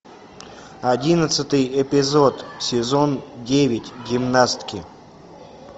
одиннадцатый эпизод сезон девять гимнастки